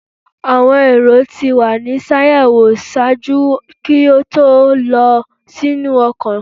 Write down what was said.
Awọn erò ti wa ni ṣayẹwo ṣaaju ki o to lọ sinu ọkọ